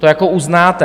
To jako uznáte.